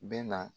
Bɛ na